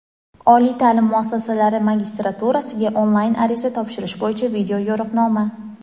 Oliy taʼlim muassasalari magistraturasiga onlayn ariza topshirish bo‘yicha video yo‘riqnoma.